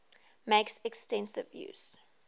makes extensive use